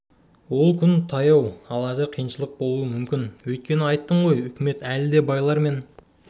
ол күн таяу ал әзір қиыншылық болуы мүмкін өйткені айттым ғой үкімет әлі де байлар мен